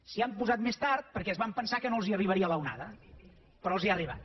s’hi han posat més tard perquè es van pensar que no els arribaria l’onada però els ha arribat